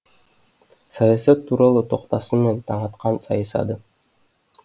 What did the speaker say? саясат туралы тоқтасын мен таңатқан сайысады